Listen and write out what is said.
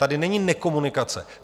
Tady není nekomunikace.